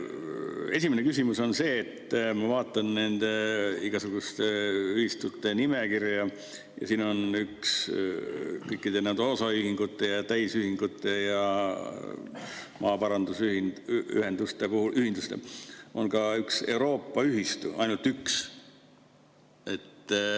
Esimene küsimus on see, et ma vaatan nende igasuguste ühistute nimekirja ja siin on kõikide osaühingute ja täisühingute ja maaparandusühenduste puhul ka üks Euroopa ühistu, ainult üks.